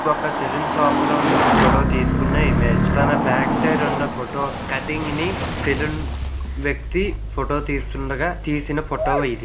ఒక్క salon shop లోని photo తీసుకున్నా ఇమేజ్ తన బ్యాక్ సైడ్ ఉన్న ఫోటో కటింగ్ ని సెలూన్ వ్యక్తి ఫోటో తీస్తుండగా తీసిన ఫోటో ఇది.